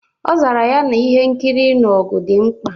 Ọ zara ya na ihe nkiri ịnụ ọgụ dị mkpa